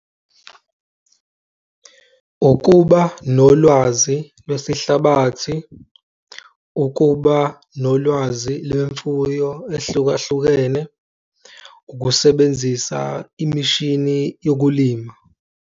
Ukuba nolwazi lwesihlabathi, ukuba nolwazi lwemfuyo ehlukahlukene, ukusebenzisa imishini yokulima.